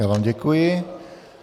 Já vám děkuji.